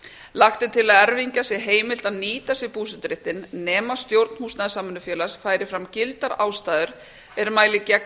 lagt er til að erfingja sé heimilt að nýta sér búseturéttinn nema stjórn húsnæðissamvinnufélaga færi fram gildar ástæður er mæli gegn